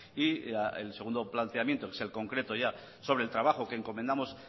y el segundo planteamiento que es el concreto ya sobre el trabajo que encomendamos